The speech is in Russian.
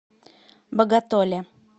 боготоле